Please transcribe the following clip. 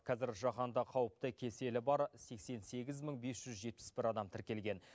қазір жаһанда қауіпті кеселі бар сексен сегіз мың бес жүз жетпіс бір адам тіркелген